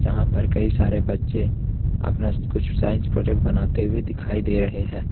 यहां पर कई सारे बच्चे अपना कुछ साइंस प्रोजेक्ट बनाते हुए दिखाई दे रहे हैं।